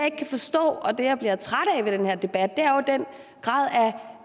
ikke kan forstå og det jeg bliver træt af ved den her debat er den grad af